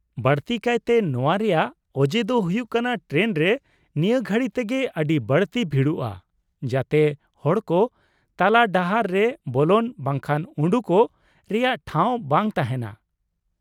ᱵᱟᱹᱲᱛᱤ ᱠᱟᱭᱛᱮ ᱱᱚᱶᱟ ᱨᱮᱭᱟᱜ ᱚᱡᱮ ᱫᱚ ᱦᱩᱭᱩᱜ ᱠᱟᱱᱟ ᱴᱨᱮᱱ ᱨᱮ ᱱᱤᱭᱟᱹ ᱜᱷᱟᱹᱲᱤ ᱛᱮᱜᱮ ᱟᱹᱰᱤ ᱵᱟᱹᱲᱛᱤ ᱵᱷᱤᱲᱚᱜᱼᱟ ᱡᱟᱛᱮ ᱦᱚᱲ ᱠᱚ ᱛᱟᱞᱟᱰᱟᱦᱟᱨ ᱨᱮ ᱵᱚᱞᱚᱱ ᱵᱟᱝᱠᱷᱟᱱ ᱩᱰᱩᱠᱚᱜ ᱨᱮᱭᱟᱜ ᱴᱷᱟᱶ ᱵᱟᱝ ᱛᱟᱦᱮᱱᱟ ᱾